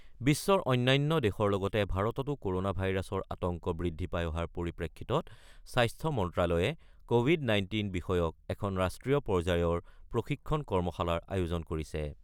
বিশ্বৰ অন্যান্য দেশৰ লগতে ভাৰততো ক'ৰনা ভাইৰাছৰ আতংক বৃদ্ধি পাই অহাৰ পৰিপ্ৰেক্ষিতত স্বাস্থ্য মন্ত্ৰ্যালয়ে কৱিড-19 বিষয়ক এখন ৰাষ্ট্ৰীয় পৰ্যায়ৰ প্ৰশিক্ষণ কৰ্মশালাৰ আয়োজন কৰিছে।